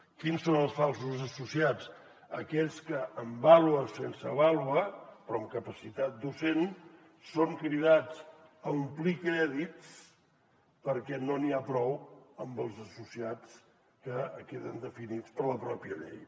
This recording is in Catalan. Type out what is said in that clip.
quins són els falsos associats aquells que amb vàlua o sense vàlua però amb capacitat docent són cridats a omplir crèdits perquè no n’hi ha prou amb els associats que queden definits per la pròpia llei